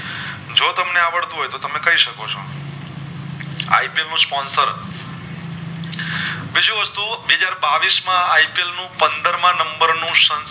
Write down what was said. તમને આવડતું હોય તો તમે કે શકો છો IPL નું sponsor બીજું હતું બે હાજર બાવીશ માં IPL નું પંદરમાં નંબર નું